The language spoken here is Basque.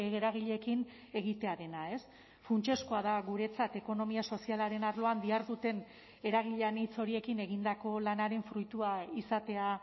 eragileekin egitearena funtsezkoa da guretzat ekonomia sozialaren arloan diharduten eragile anitz horiekin egindako lanaren fruitua izatea